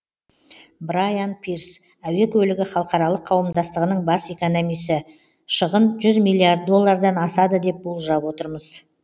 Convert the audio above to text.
брайан пирс әуе көлігі халықаралық қауымдастығының бас экономисі шығын жүз миллиард доллардан асады деп болжап отырмыз